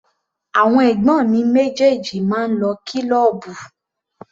Àwọn ẹ̀gbọ́n mi méjèèjì máa ń lọ kílọ́ọ̀bù.